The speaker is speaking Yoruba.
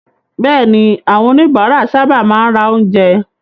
Bẹ́ẹ̀ni, àwọn oníbàárà sábà máa ń ra oúnjẹ.